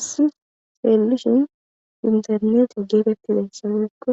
Issi feelishin internetia geetettizayssa loykko